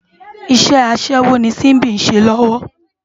Iṣè aṣèwó ni Simbi n ṣé lòwò